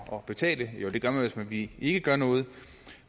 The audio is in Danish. at betale jo det gør man hvis vi ikke gør noget